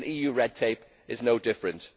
EU red tape is no different.